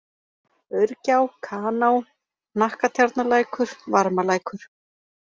Aurgjá, Kaná, Hnakkatjarnarlækur, Varmalækur